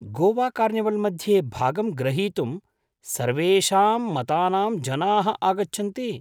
Goa carnival मध्ये भागं ग्रहीतुं सर्वेषां मतानां जनाः आगच्छन्ति।